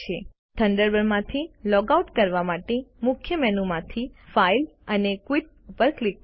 થન્ડરબર્ડમાંથી log out કરવા માટે મુખ્ય મેનુ માંથી ફાઇલ અને ક્વિટ ઉપર ક્લિક કરો